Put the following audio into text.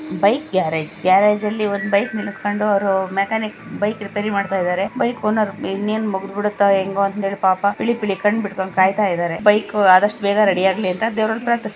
Bike garage ಗ್ಯಾರೇಜಲ್ಲಿ ಒಂದು bike ನಿಲ್ಲಸ್ಕೊಂಡು ಅವರು ಮೆಕ್ಯಾನಿಕ್ ಬೈಕ್ ರಿಪೇರಿ ಮಾಡ್ತಾ ಇದ್ದಾರೆ ಬೈಕ್ ಓನರ್ ಇನ್ನೇನು ಮುಗದು ಬಿಡುತ್ತ ಹೆಂಗೋ ಅಂತ ಪಾಪಾ ಪಿಳಿ ಪಿಳಿ ಕಣ್ಣು ಬಿಟ್ಟಕೊಂಡು ಕಾಯತ ಇದ್ದಾರೆ ಬೈಕ್ ಆದಷ್ಟು ಬೇಗನೆ ರೆಡಿ ಆಗ್ಲಿ ಅಂತ ಹೇಳಿ ದೇವರನ್ನ ಪ್ರಾರ್ಥಿಸ್.